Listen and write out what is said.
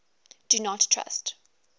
do not trust